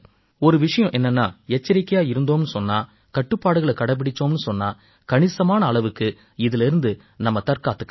ஒரு விஷயம் என்னென்னா எச்சரிக்கையா இருந்தோம்னு சொன்னா கட்டுப்பாடுகளைக் கடைப்பிடிச்சோம்னு சொன்னா கணிசமான அளவுக்கு இதிலேர்ந்து நம்மைத் தற்காத்துக்கலாம்